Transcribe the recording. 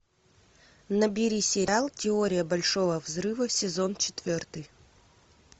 набери сериал теория большого взрыва сезон четвертый